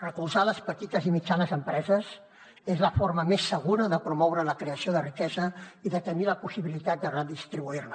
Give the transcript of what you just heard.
recolzar les petites i mitjanes empreses és la forma més segura de promoure la creació de riquesa i de tenir la possibilitat de redistribuir la